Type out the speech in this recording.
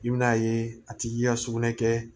I bɛn'a ye a tigi ka sugunɛ kɛ